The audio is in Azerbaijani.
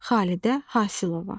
Xalidə Hasılova.